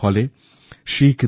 এর ফলে শিখ